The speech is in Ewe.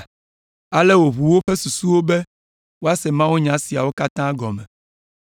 Ale wòʋu woƒe susuwo be woase mawunya siawo katã gɔme.